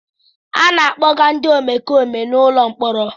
A na-akpọga ndị omekome n'ụlọ mkpọrọ.